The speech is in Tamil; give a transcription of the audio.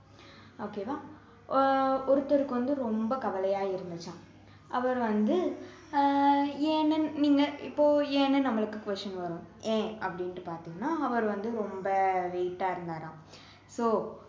okay வா ஆஹ் ஒருத்தருக்கு வந்து ரொம்ப கவலையா இருந்துச்சாம் அவரு வந்து அஹ் ஏன்னு நீங்க இப்போ ஏன்னு நம்மளுக்கு question வரும் ஏன் அப்படின்னுட்டு பாத்தோம்னா அவரு வந்து ரொம்ப weight ஆ இருந்தாராம் so